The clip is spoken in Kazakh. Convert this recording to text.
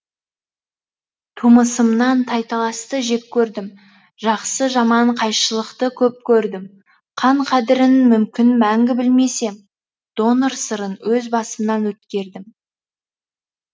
тумысымнан тайталасты жек көрдім жақсы жаман қайшылықты көп көрдім қан қадірін мүмкін мәңгі білмес ем донор сырын өз басымнан өткердім